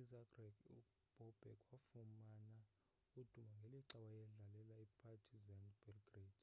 izagreb ubobek wafumana udumo ngelixa wayedlalela ipartizan belgrade